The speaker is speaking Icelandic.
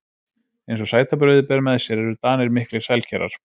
Eins og sætabrauðið ber með sér eru Danir miklir sælkerar.